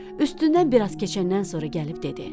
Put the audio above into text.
Üstündən biraz keçəndən sonra gəlib dedi: